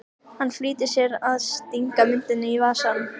Hann flýtir sér að stinga myndinni í vasann.